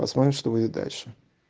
посмотрим что будет дальше